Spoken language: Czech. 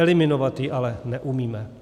Eliminovat ji ale neumíme.